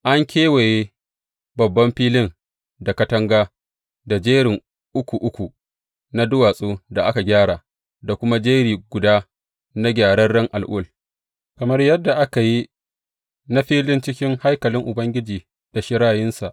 An kewaye babban filin da katanga da jerin uku uku na duwatsun da aka gyara, da kuma jeri guda na gyararren al’ul, kamar yadda aka yi na filin cikin haikalin Ubangiji da shirayinsa.